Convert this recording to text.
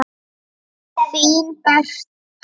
Þín Berta.